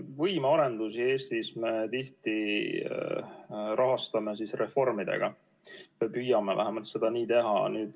Võimearendusi Eestis me tihti rahastame reformidega, vähemalt püüame seda nii teha.